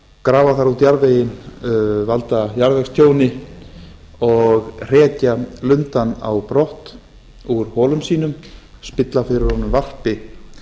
grafa þar út jarðveginn valda jarðvegstjóni og hrekja lundann á brott úr holum sínum spilla fyrir honum varpi